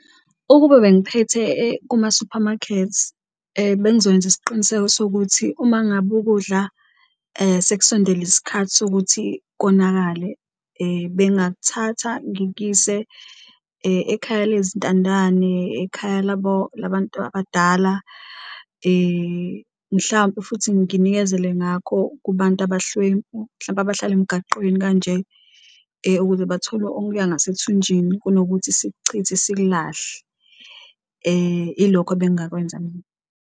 Ukube bengiphethe kuma-supermarkets bengizokwenza isiqiniseko sokuthi uma ngabe ukudla sekusondele isikhathi sokuthi konakale bengathatha ngikuyise ekhaya lezintandane, ekhaya labantu abadala mhlampe futhi nginikezele ngakho kubantu abahlwempu mhlampe abahlala emgaqweni kanje. Ukuze bathole okuya ngasethunjini kunokuthi sikuchithe sikulahle ilokho ebengakwenza mina.